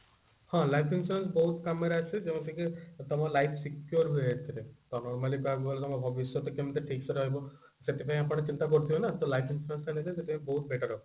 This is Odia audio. ହଁ life insurance ବହୁତ କାମରେ ଆସେ ଯେମିତିକି ତମ life secure ହୁଏ ଏଥିରେ ତମର mainly କହିବାକୁ ଗଲେ ତମ ଭବିଷ୍ୟତ କେମିତି ଠିକ ରହିବ ସେଥିପାଇଁ ଆପଣ ଚିନ୍ତା କରୁଥିବେ ନା ତ life insurance ନେଲେ ସେଥିରେ ବହୁତ better ହବ